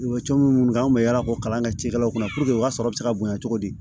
U bɛ coron minnu kɛ an kun bɛ yaala k'o kalan kɛ cikɛlaw kunna u ka sɔrɔ bɛ se ka bonya cogo di